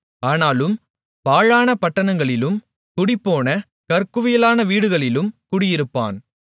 ஆனாலும் பாழான பட்டணங்களிலும் குடிபோன கற்குவியலான வீடுகளிலும் குடியிருப்பான்